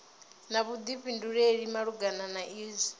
na vhuḓifhinduleli malugana na izwi